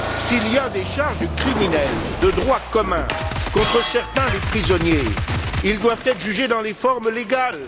S'il y a des charges criminelles de droit commun contre certains des prisonniers, ils doivent être jugés dans les formes légales.